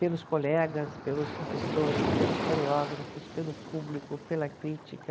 Pelos colegas, pelos professores, pelos coreógrafos, pelo público, pela crítica.